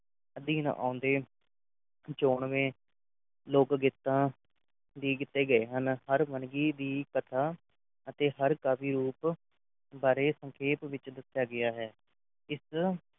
ਅਧੀਨ ਆਉਂਦੇ ਚੋਣਵੈ ਲੋਕ ਗੀਤਾਂ ਦੀ ਕੀਤੇ ਗਏ ਹਰ ਵੰਨਗੀ ਦੀ ਕਥਾ ਅਤੇ ਹਰ ਕਵੀ ਰੂਪ ਬਾਰੇ ਸੰਖੇਪ ਵਿੱਚ ਦੱਸਿਆ ਗਿਆ ਹੈ ਇਸ